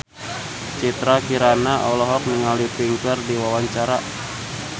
Citra Kirana olohok ningali Pink keur diwawancara